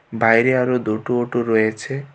বাইরে আরো দুটো অটো রয়েছে।